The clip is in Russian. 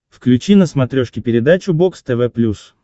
включи на смотрешке передачу бокс тв плюс